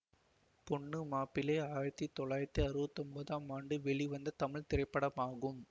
பொண்ணு மாப்பிள்ளை ஆயிரத்தி தொள்ளாயிரத்தி அறுபத்தி ஒன்போதாம் ஆண்டு வெளிவந்த தமிழ் திரைப்படமாகும்